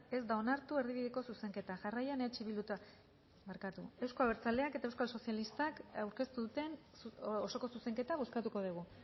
ez da onartu erdibideko zuzenketa jarraian euzko abertzaleak eta euskal sozialistak aurkeztu duten osoko zuzenketa bozkatuko degu